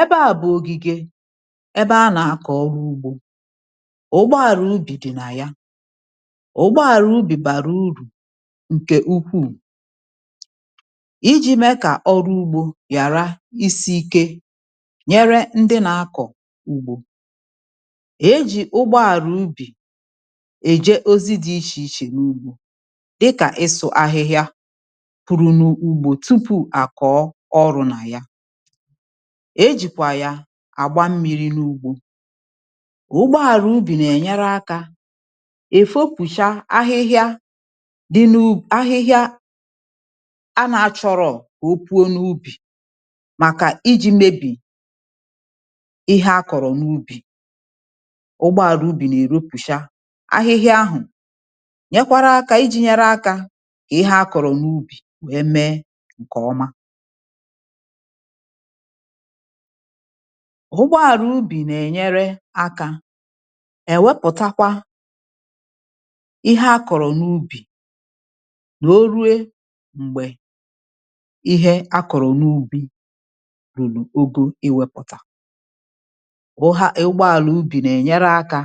ẹbẹ à bụ̀ ògìgè, ẹbẹ a nà akọ̀ ọrụ ugbō. ụgboàlà ubì dị̀ nà ya. ụgboàlà ubì bàrà urù ǹkẹ̀ ukwù, ijī mẹ kà ọrụ ugbō ghàra isi ike, nyẹrẹ ndị na akọ̀ ugbō. e jì ụgboàlà ubì ẹ̀jẹ ozi dị ichè ichè n’ugbō, dịkà ịsụ ahịhịa puru n’ugbō, tupù à kọ̀ọ ọrụ dị nà ya. e jìkwà ya àgba mmirī n’ugbō. ụgboàlà ubì nà ẹ̀nyẹrẹ akā èfopùcha ahịhịa dị n’ ahịhịa a nā chọrọ̀, màkà ijī mebì ịhẹ a kọ̀rọ̀ n’ubi. ụgboàlà ubì nà ẹ̀ wẹpụ̀cha ahịhịa ahụ̀, nyẹkwara akā ijī nyẹrẹ akā kà ịhẹ a kọ̀rọ̀ n’ubì me ǹkẹ̀ ọma. ụgboàlà ubì nà ènyere akā ẹ̀ wẹpụ̀takwa ịhẹ a kọ̀rọ̀ n’ubì, wẹ̀ẹ ruo m̀gbẹ̀ ịhẹ a kọ̀rọ n’ubī rùrù ogo ịwẹ̄pụ̀tẹ̀. ụgboàlà ubì nà ẹ̀nyẹrẹ akā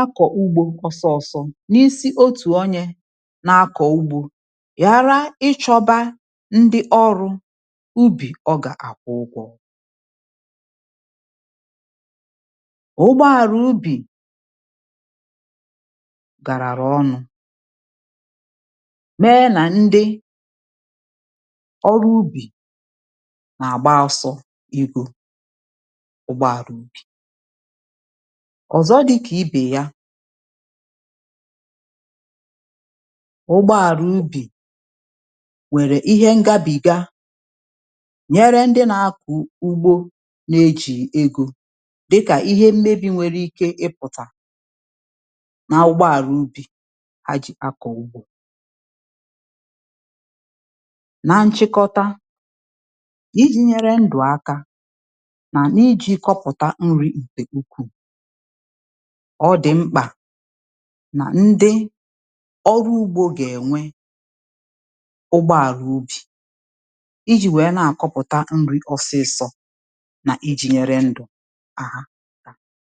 akọ̀ ugbō ọsọ ọsọ n’isi otù onye na akọ̀ ugbō, ghàra I chọba ndị ubì ọrụ̄ ọ gà àkwụ ụgwọ̄. ụgboàlà ubì gàràrụ̀ ọnụ̄, mẹ nà ndị ọrụ ubì nà àgba ọsọ igō ụgboàlà ubì. ọ̀zọ dịkà ibè ya. ụgboàlà ubì nwẹ̀rẹ̀ ịhẹ ngabiga nyẹrẹ ndị na akọ̀ ugbo, na e jìghì egō, dịkà ihe mmebī nwẹrẹ ike ịpụ̀tà n’ụgbọàlà ubī, ha jì akọ̀ ugbō. na nchịkọta, ijī nyẹrẹ ndụ̀ aka, nà ijī kọpụ̀ta nrī ǹkẹ̀ ukwù, ọ dị̀ mkpà nà ndị ọrụ ugbō gà ẹ̀nwẹ ụgboàlà ubì, ijī wẹ̀ẹ nà àkọpụ̀ta nrī ọsịsọ̀, nà ijī wẹ̀ẹ nyẹrẹ ndụ̀ ha akā.